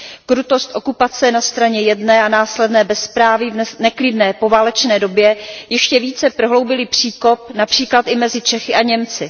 Krutost okupace na straně jedné a následné bezpráví v neklidné poválečné době ještě více prohloubily příkop například i mezi Čechy a Němci.